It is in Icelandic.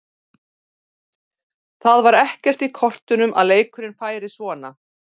Það var ekkert í kortunum að leikurinn færi svona.